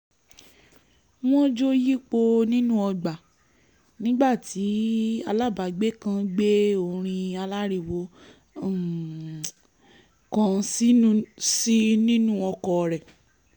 wọ́n jó yípo nínú ọgbà nígbà tí alábàágbé kan gbé orin aláriwo um kan sí i nínú ọkọ̀ rẹ̀